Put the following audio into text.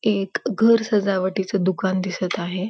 एक घर सजावटीच दुकान दिसत आहे.